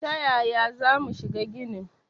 Ta yaya za mu shiga ginin?